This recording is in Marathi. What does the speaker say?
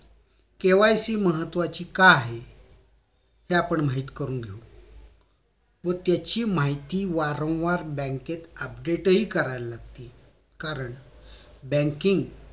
KYC महत्वाची का आहे हे आपण माहित करून घेऊ व त्याची माहिती वारंवार बँकेत update हि करावी लागते कारण banking